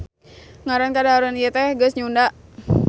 Ngaran kadaharan ieu teh geus nyunda